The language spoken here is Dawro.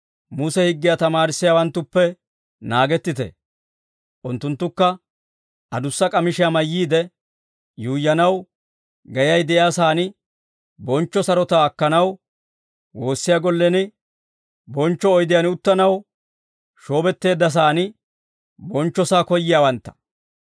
«Muse higgiyaa tamaarissiyaawanttuppe naagettite; unttunttukka, adussa k'amishiyaa mayyiide yuuyyanaw, geyay de'iyaa saan bonchcho sarotaa akkanaw, woossiyaa gollen bonchcho oydiyaan uttanaw, shoobetteeddasan bonchchosaa koyyiyaawantta.